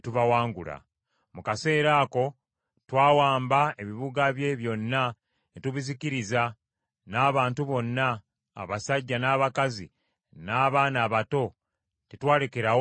Mu kaseera ako twawamba ebibuga bye byonna ne tubizikiriza n’abantu bonna, abasajja, n’abakazi, n’abaana abato, tetwalekerawo ddala.